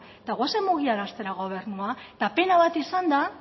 eta goazen mugiaraztera gobernua pena bat izan da